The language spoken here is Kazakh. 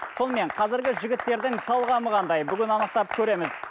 сонымен қазіргі жігіттердің талғамы қандай бүгін анықтап көреміз